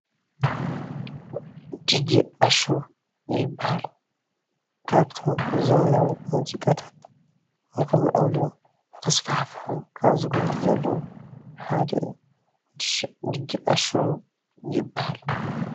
ድጄ ኣሹ ይባሃል ካብቶም ብዘበናዊ ሙዚቃታት ንክምዕብሉን ንክስፋሕፍሑ ካብ ዝገብሩ ዘለው ሓደ እዩ ድጄ ኣሹ ይባሃል፡፡